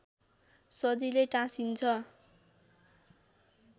सजिलै टाँसिन्छ